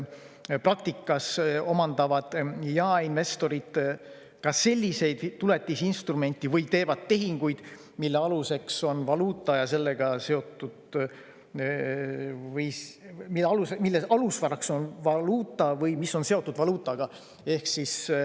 Praktikas omandavad jaeinvestorid ka selliseid tuletisinstrumente või teevad tehinguid, mille alusvaraks on valuuta või mis on seotud valuutaga.